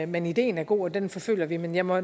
men ideen er god og den forfølger vi men jeg må